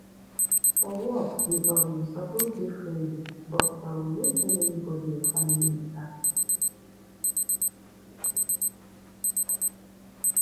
for work you um suppose dey friendly but um no tell anybodi your family mata